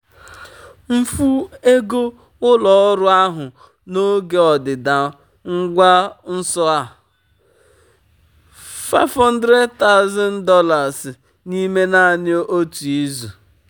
mfu ego ụlọ ọrụ ahụ n'oge ọdịda ngwa nso a um $500000 n'ime naanị otu izu.